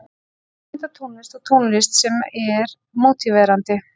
Kvikmyndatónlist og tónlist sem er mótiverandi.